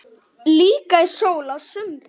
Líka í sól á sumrin.